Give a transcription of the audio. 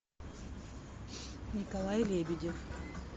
николай лебедев